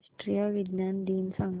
राष्ट्रीय विज्ञान दिन सांगा